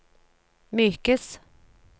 mykes